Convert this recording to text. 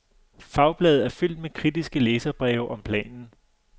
Fagbladet er fyldt med kritiske læserbreve om planen.